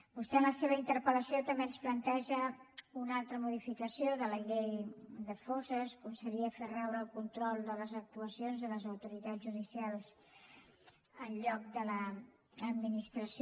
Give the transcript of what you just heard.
vostè en la seva interpel·lació també ens planteja una altra modificació de la llei de fosses com seria fer raure el control de les actuacions en les autoritats judicials en lloc de l’administració